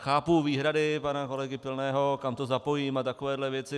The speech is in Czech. Chápu výhrady pana kolegy Pilného, kam to zapojím a takové věci.